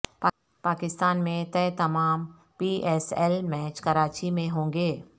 پاکستان میں طے تمام P S L match Karachi میں ہوں گے